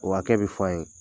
O hakɛ be fɔ an' ye.